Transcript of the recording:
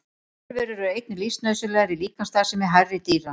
Örverur eru einnig lífsnauðsynlegar í líkamsstarfsemi hærri dýra.